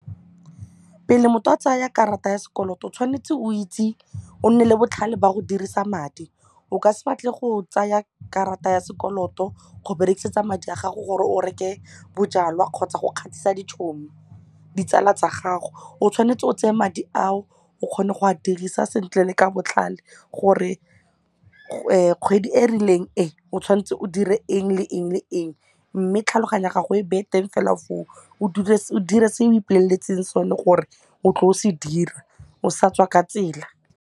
Pele motho a tsaya karata ya sekoloto o tshwanetse o itse o nne le botlhale ba go dirisa madi o ka se batle go tsaya karata ya sekoloto go berekisetsa madi a gago gore o reke bojalwa kgotsa go kgatlhisa ditsala tsa gago o tshwanetse o tseye madi ao o kgone go a dirisa sentle le ka botlalo gore kgwedi e rileng e o tshwanetse o dire eng le eng le eng mme tlhaloganya gago e beye teng fela foo o dire o dire se o ipoleletseng sone gore o tlo se dira o sa tswa ka tsela.